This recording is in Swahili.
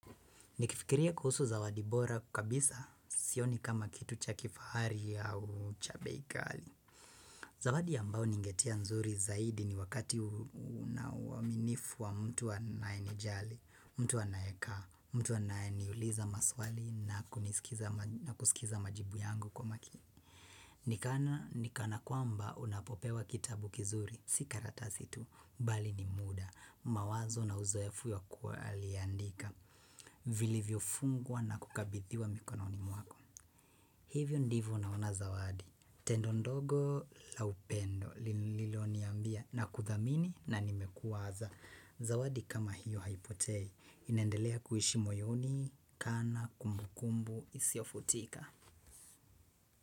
Nikifikiria kuhusu zawadi bora kabisa sioni kama kitu cha kifahari au cha bei ghali. Zawadi ambayo ningetia nzuri zaidi ni wakati unauaminifu wa mtu anae nijali, mtu aneaka, mtu anaye niuliza maswali na kusikiza majibu yangu kwa makini. Nikana, nikana kwamba unapopewa kitabu kizuri, sika karata itu, bali ni muda, mawazo na uzoefu ya kuwa aliandika. Vilivyofungwa na kukabidhiwa mikononi mwako hivyo ndivyo naona zawadi. Tendo ndogo la upendo lililo niambia na kuthamini na nimekuwaza. Zawadi kama hiyo haipotei. Inaendelea kuishi moyoni, kana, kumbukumbu, isiofutika.